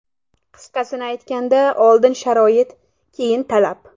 Qisqasini aytganda oldin sharoit, keyin talab.